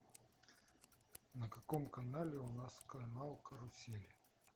на каком канале у нас канал карусель